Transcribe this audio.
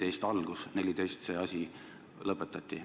2014. aastast see asi lõpetati.